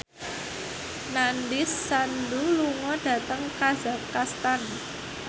Nandish Sandhu lunga dhateng kazakhstan